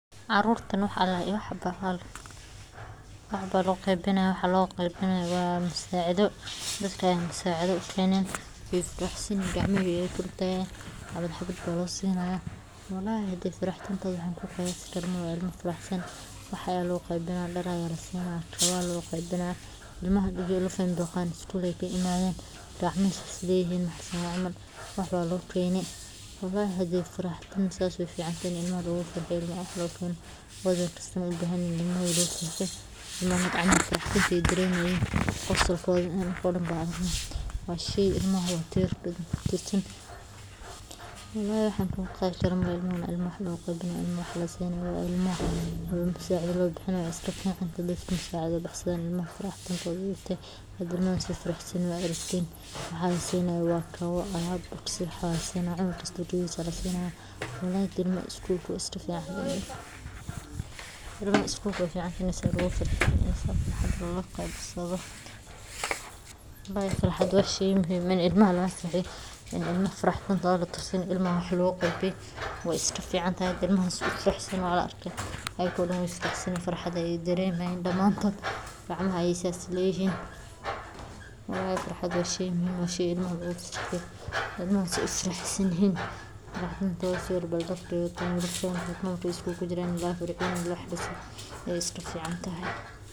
Carurtan wax aya lo qeybini haya waa musacidho dadka aya la sacidheynaya wey ducesani hayan gacmaha ayey kor utagi hayan xabad xabad ba losini haya walahi hadi faraxdintidha wax an kuqiyasi karo malaha ilmaha wey faraxsan yihin dar aya lo qeybini haya dar aya lasini haya walahi faraxdinta sas wey ficantahay in ilmaha sas ee u farxan wey ficantahy ilmaha labis ayey ubahan yihin ilmaha farxad ayey daremayin qosolkodha anoko danba waa shey, walahi wax an ku qeexi karo malaha ilmaha waa lasacidheyni haya ilmaha faraxdintodha, hada ilmaha se ufarax san yihin waa arkeysa hada waxa lasini hayo waa kawo cunug kasta kawahisa aya lasini haya ilmaha wey iska fican yihin, ilmaha isgulka we ficantahay in wax lagu sadhaqesto walahi farxada waa shey muhiim ah ilmaha hadii farxadoda latusin ilmaha iska faraxsan waa larka iyaga dan farxaad ayey daremi hayan gacmaha ayey sithas leyihin walahi farxada waa shey muhiim ah washey wey iska ficantahay.